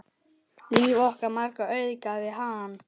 Líf okkar margra auðgaði hann.